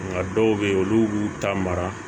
Nka dɔw bɛ yen olu b'u ta mara